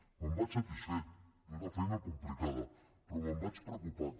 me’n vaig satisfet d’haver fet una feina complicada però me’n vaig preocupat